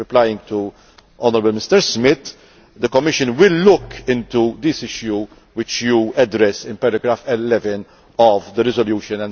Replying to the Honourable Mr Smith, the Commission will look into this issue which you address in paragraph 11 of the resolution.